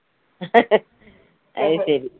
അത് ശരി